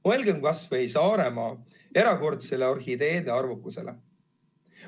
Mõelgem kas või Saaremaa erakordsele orhideede arvukusele.